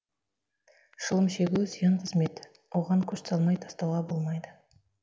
шылым шегу зиян қызмет оған күш салмай тастауға болмайды